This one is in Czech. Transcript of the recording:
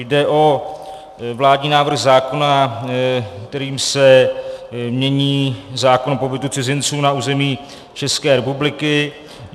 Jde o vládní návrh zákona, který se mění zákon o pobytu cizinců na území České republiky.